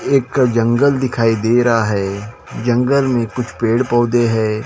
एक जंगल दिखाई दे रहा है जंगल में कुछ पेड़ पौधे हैं।